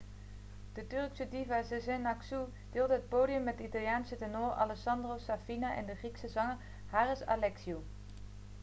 de turkse diva sezen aksu deelde het podium met de italiaanse tenor alessandro safina en de grieke zanger haris alexiou